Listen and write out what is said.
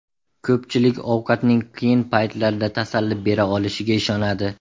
Ko‘pchilik ovqatning qiyin paytlarda tasalli bera olishiga ishonadi.